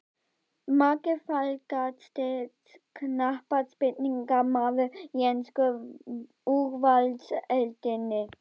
Margir Fallegasti knattspyrnumaðurinn í ensku úrvalsdeildinni?